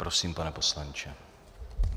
Prosím, pane poslanče.